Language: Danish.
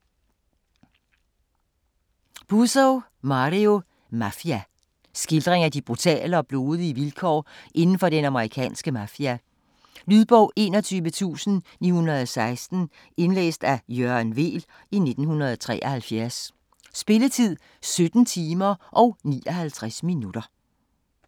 Puzo, Mario: Mafia Skildring af de brutale og blodige vilkår indenfor den amerikanske mafia. Lydbog 21916 Indlæst af Jørgen Weel, 1973. Spilletid: 17 timer, 59 minutter.